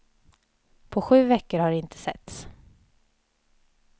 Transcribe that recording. På sju veckor har de inte setts.